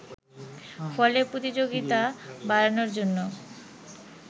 ফলে প্রতিযোগিতা বাড়ানোর জন্য